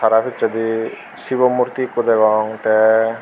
tara pichedi shibo murti ekku degong tei.